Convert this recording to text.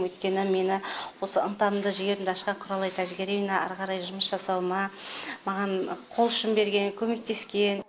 өйткені мені осы ынтамды жігерімді ашқан құралай тәжігериевна әрі қарай жұмыс жасауыма маған қолұшын берген көмектескен